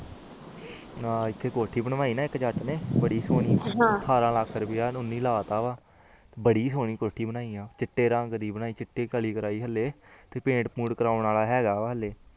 ਅੱਛਾ ਇਕ ਇੱਥੇ ਕੋਠੀ ਬਣਵਾਈ ਆ ਜੁਜ ਨੇ ਬੜੀ ਸੋਹਣੀ ਅਠਾਰਾਂ ਲੱਖ ਰੁਪਿਆ ਲੈ ਤਾ ਵਾ ਬੜੀ ਸੋਹਣੀ ਕੋਠੀ ਬਣਾਈ ਆ ਚਿਤਰ ਰੰਗ ਦੇ ਚਿਤਿ ਕਾਲੀ ਕਾਰਵਾਈ ਆ ਹਾਲੇ ਪੈਣ ਪੰਤ ਕਰਨ ਵਾਲਾ ਆ